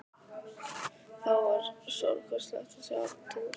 Það var stórkostlegt að sjá til ömmu.